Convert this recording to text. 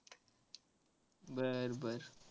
बर बर.